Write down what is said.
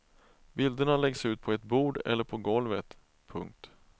Bilderna läggs ut på ett bord eller på golvet. punkt